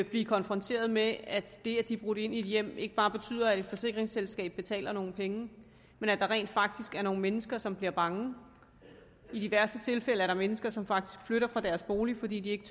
blive konfronteret med at det at de er brudt ind i et hjem ikke bare betyder at et forsikringsselskab betaler nogle penge men at der rent faktisk er nogle mennesker som bliver bange i de værste tilfælde er der mennesker som faktisk flytter fra deres bolig fordi de ikke